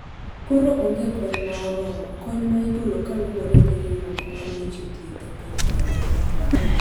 koro onge kony ma oromo, kony ma igolo kaluwore gi riwruok mar weche thieth e piny mangima